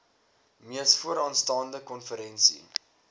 mees vooraanstaande konferensie